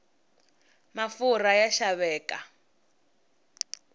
mafurha ya xaveka